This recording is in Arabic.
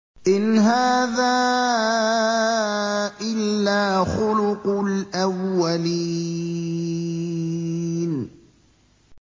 إِنْ هَٰذَا إِلَّا خُلُقُ الْأَوَّلِينَ